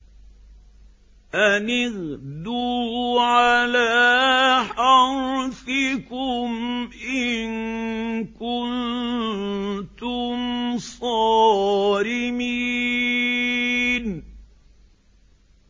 أَنِ اغْدُوا عَلَىٰ حَرْثِكُمْ إِن كُنتُمْ صَارِمِينَ